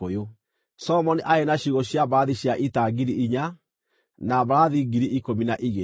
Solomoni aarĩ na ciugũ cia mbarathi cia ita ngiri inya, na mbarathi ngiri ikũmi na igĩrĩ.